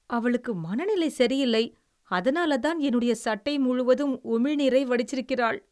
அவளுக்கு மனநிலை சரியில்லை. அதனாலதான் என்னுடைய சட்டை முழுவதும் உமிழ்நீரை வடிச்சிருக்கிறாள்.